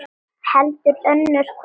Heldur önnur kona.